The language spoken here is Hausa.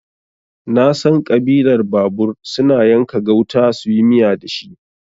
Nasan Ƙabilar babur suna yanka gauta suyi miya dashi